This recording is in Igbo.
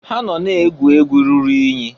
Ha nọ na-egwu egwu ruru inyi.